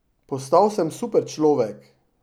Postal sem superčlovek!